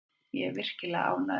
Ég er virkilega ánægður.